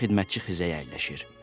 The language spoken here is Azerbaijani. Hərbi xidmətçi xizəyə əyləşir.